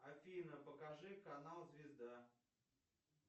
афина покажи канал звезда